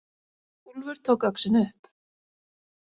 Úlfur tók öxina upp.